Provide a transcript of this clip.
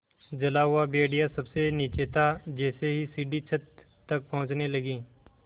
जला हुआ भेड़िया सबसे नीचे था जैसे ही सीढ़ी छत तक पहुँचने लगी